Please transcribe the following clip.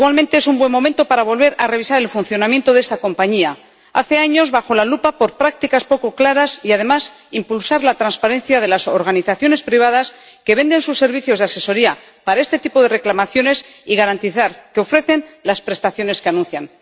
Igualmente es un buen momento para volver a revisar el funcionamiento de esta compañía —desde hace años bajo la lupa por prácticas poco claras— y, además, impulsar la transparencia de las organizaciones privadas que venden sus servicios de asesoría para este tipo de reclamaciones y garantizar que ofrecen las prestaciones que anuncian.